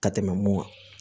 Ka tɛmɛ mun kan